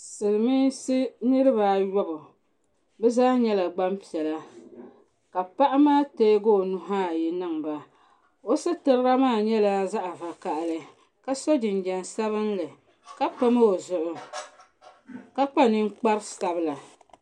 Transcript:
silmiinsi niraba ayobu bi zaa nyɛla gbanpiɛla ka paɣa maa teegi o nuhu ayi niŋba o sitira maa nyɛla zaɣ vakaɣali ka so jinjɛm sabinli ka pam o zuɣu ka kpa ninkpari sabila